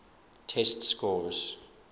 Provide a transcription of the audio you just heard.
test scores